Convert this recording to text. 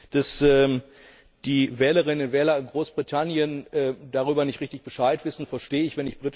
Dass die Wählerinnen und Wähler in Großbritannien darüber nicht richtig Bescheid wissen, verstehe ich.